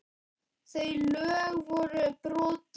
Þau lög voru brotin.